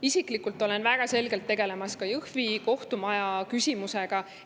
Isiklikult tegelen väga selgelt ka Jõhvi kohtumaja küsimusega.